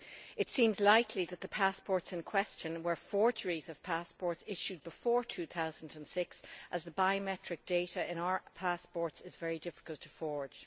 It seems likely that the passports in question were forgeries of passports issued before 2006, as the biometric data in our passports is very difficult to forge.